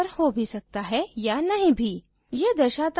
यह आपके screen पर हो भी सकता है या नहीं भी